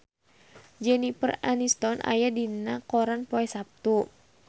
Jennifer Aniston aya dina koran poe Saptu